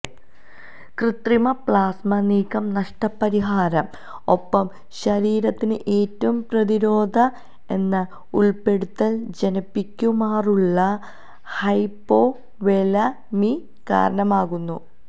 കൃത്രിമ പ്ലാസ്മ നീക്കം നഷ്ടപരിഹാര ഒപ്പം ശരീരത്തിന് ഏറ്റവും പ്രതിരോധ എന്ന ഉൾപ്പെടുത്തൽ ജനിപ്പിക്കുമാറുള്ള ഹ്യ്പൊവൊലെമിഅ കാരണമാകുന്നു